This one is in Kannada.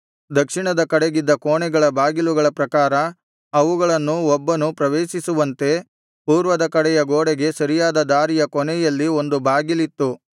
ದಕ್ಷಿಣ ಕಡೆಗಿದ್ದ ಕೋಣೆಗಳ ಬಾಗಿಲುಗಳ ಪ್ರಕಾರ ಅವುಗಳನ್ನು ಒಬ್ಬನು ಪ್ರವೇಶಿಸುವಂತೆ ಪೂರ್ವದ ಕಡೆಯ ಗೋಡೆಗೆ ಸರಿಯಾದ ದಾರಿಯ ಕೊನೆಯಲ್ಲಿ ಒಂದು ಬಾಗಿಲಿತ್ತು